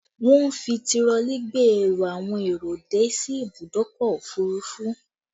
Wọn ń fi tirọlí gbé ẹrù àwọn èrò dé sí ìbùdókọ̀ òfurufú